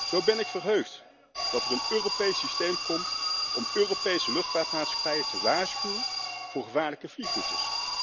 Zo ben ik verheugd dat er een Europees systeem komt om Europese luchtvaartmaatschappijen te waarschuwen voor gevaarlijke vliegroutes.